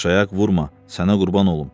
Başayaq vurma, sənə qurban olum.